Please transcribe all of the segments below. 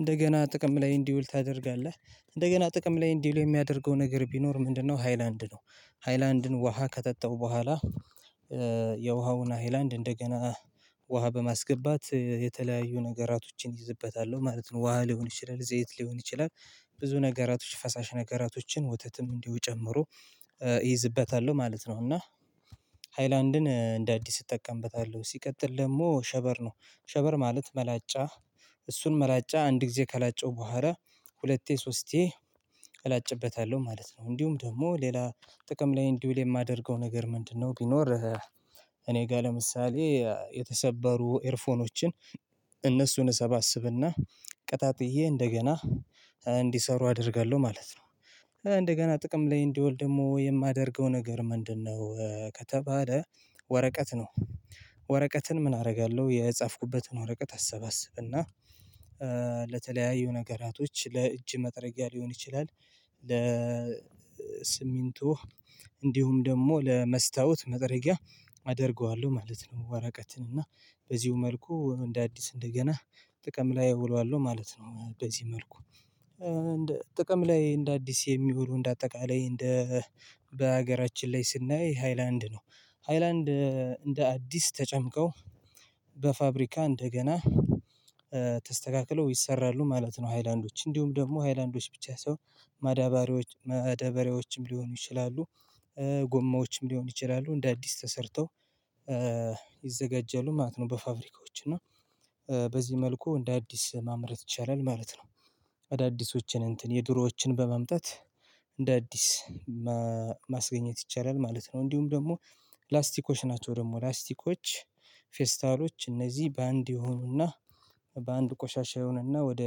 እንደገና ጥቅም ላይ እንዲውል ታደርጋለህ እንደገና ጥቅም ላይ እንዲውል የሚያደርገው ነገር ቢኖር ምንድነው? ሃይላንድ ነው። ሃይላንድን ውሃ ከጠጣው በኋላ የውሃውን ሃይላንድ እንደገና ውሃ በማስገባት የተለያዩ ነገራቶችን እይዝበታለሁ ማለት ነው። ውሃ ሊሆን ይችላል ዘይት ሊሆን ይችላል ብዙ ነገራቶች ፈሳሽ ነገራቶችን ወተትም እንዲሁ ጨምሮ እይዝበታለሁ ማለት ነው። እና ሃይላንድን እንደ አዲስ እጠቀምበታለሁ። ሲቀጥል ደግሞ ሸበር ነው። ሸበር ማለት መላጫ እሱን መላጫ አንድ ጊዜ ከላጨው በኋላ ሁለቴ ሶስቴ እላጭበታለሁ ማለት ነው። እንዲሁም ደግሞ ሌላ ጥቅም ላይ እንዲውል የማደርገው ነገር ምንድነው? ቢኖር እኔ ጋር ለምሳሌ የተሰበሩ ኤርፎኖችን እነሱን እሰባስብና ቀጣጥዬ እንደገና እንዲሰሩ አደርጋለሁ ማለት ነው። እንደገና ጥቅም ላይ እንዲውል ደሞ የማደርገው ነገር ምንድነው? ከተባለ ወረቀት ነው። ወረቀትን ምን አደርጋለሁ የጻፍኩበትን ወረቀት አሰባስብና ለተለያዩ ነገራቶች ለእጅ መጥረጊያ ሊሆን ይችላል ለስሚንቶ እንዲሁም ደግሞ ለመስታወት መጥረጊያ አደርገዋለሁ ማለት ነው። ወረቀትን እና በዚሁ መልኩ እንደ አዲስ እንደገና ጥቅም ላይ እውለዋለሁ ማለት ነው። በዚህ መልኩ ጥቅም ላይ እንደ አዲስ የሚውሉ እንደ አጠቃላይ እንደ በሀገራችን ላይ ስናይ ሃይላንድ ነው ሃይላንድ እንደ አዲስ ተጨምቀው በፋብሪካ እንደገና ተስተካክለው ይሰራሉ ማለት ነው። ሃይላንዶች እንዲሁም ደግሞ ሃይላንዶች ብቻ ሳይሆን ማዳባሪያዎች መደበሪያዎችም ሊሆኑ ይችላሉ። ጎማዎችም ሊሆን ይችላሉ እንደ አዲስ ተሰርተው ይዘጋጃሉ ማለት ነው። በፋብሪካዎች እና በዚህ መልኩ እንደ አዲስ ማምረት ይቻላል ማለት ነው። አዳዲሶችን እንትን የድሮዎችን በማምጣት እንደ አዲስ ማስገኘት ይቻላል ማለት ነው። እንዲሁም ደግሞ ላስቲኮች ናቸው። ደግሞ ፕላስቲኮች ፌስታሎች እነዚህ በአንድ ይሆኑና በአንድ ቆሻሻ ይሆንና ወደ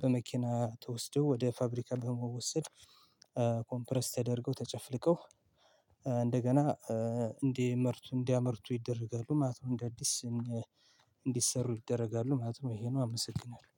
በመኪና ተወስደው ወደ ፋብሪካ በመወሰድ ኮምፕረስ ተደርገው ተጨፍልቀው እንደገና እንዲመርቱ እንዲያመርቱ ይደረጋሉ ማለት ነው። እንደ አዲስ እንዲሰሩ ይደረጋሉ ማለት ነው። ይሄ ነው አመሰግናለሁ